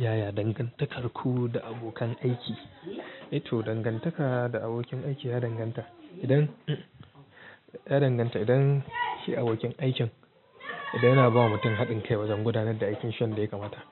Yaya dangantakarku da abokan aiki? To dangantaka da abokin aiki, ya danganta idan, ya danganta idan shi abokin aikin idan yana ba wa mutum haɗin kai wajen gudanar da aikin shi yanda ya kamata.